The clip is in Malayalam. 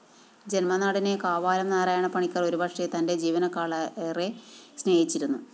ജന്മനാടിനെ കാവാലം നാരായണപണിക്കര്‍ ഒരുപക്ഷെ തന്റെ ജീവനെക്കാളേറെ സ്‌നേഹിച്ചിരുന്നു